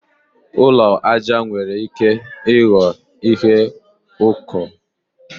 Ụlọ aja nwere ike ịghọ ihe ụkọ.